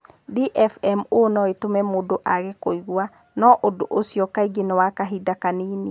DFMO no ĩtũme mũndũ age kũigua, na ũndũ ũcio kaingĩ nĩ wa kahinda kanini.